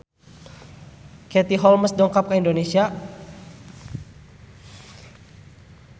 Katie Holmes dongkap ka Indonesia